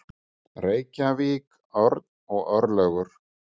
Reykjavík, Örn og Örlygur.